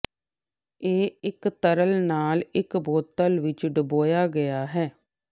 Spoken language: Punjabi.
ਇਹ ਇੱਕ ਤਰਲ ਨਾਲ ਇੱਕ ਬੋਤਲ ਵਿੱਚ ਡੁਬੋਇਆ ਗਿਆ ਹੈ